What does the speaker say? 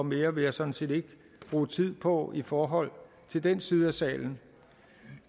mere vil jeg sådan set ikke bruge tid på i forhold til den side af salen